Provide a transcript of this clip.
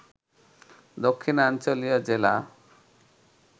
দক্ষিণাঞ্চলীয় জেলা